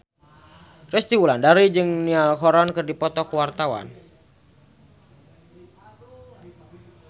Resty Wulandari jeung Niall Horran keur dipoto ku wartawan